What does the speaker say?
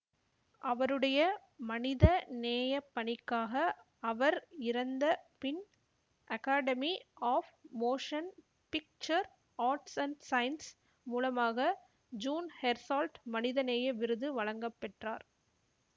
அவருடைய மனித நேயப்பணிக்காக அவர் இறந்த பின் Academy of Motion Picture Arts and Sciences மூலமாக ஜீன் ஹெர்சால்ட் மனித நேய விருது வழங்கப்பெற்றார்